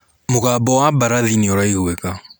Mũgambo wa barathi nĩ ũraigwĩka